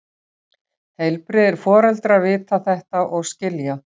Heilbrigðir foreldrar vita þetta og skilja.